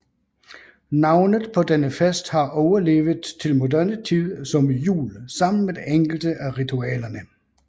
Navnet på denne fest har overlevet til moderne tid som jul sammen med enkelte af ritualerne